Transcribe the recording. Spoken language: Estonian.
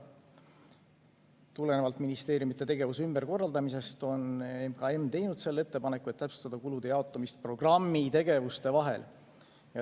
Tulenevalt ministeeriumide tegevuse ümberkorraldamisest on MKM teinud selle ettepaneku, et täpsustada kulude jaotamist programmi tegevuste vahel.